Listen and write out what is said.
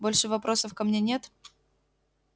больше вопросов ко мне нет